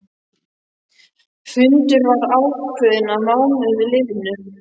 Fundur var ákveðinn að mánuði liðnum.